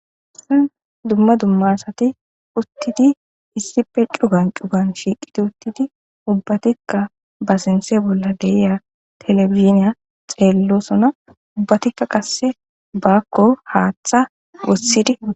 dumma dumma asati uttidi issipe cugan cugan shiiqiti uttidi ubbatikka ba sinse bolla deiya telefiziniya xeellosona ubbatikka qasse baakko haaththa wossidi